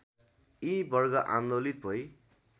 यी वर्ग आन्दोलित भई